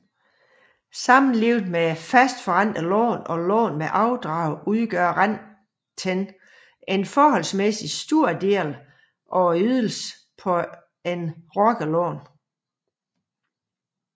Sammenlignet med fastforrentede lån og lån med afdrag udgør renten en forholdsmæssigt stor del af ydelsen på et rockerlån